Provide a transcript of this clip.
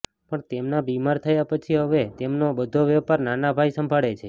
પણ તેમના બીમાર થયા પછી હવે તેમનો બધો વેપાર નાના ભાઈ સંભાળે છે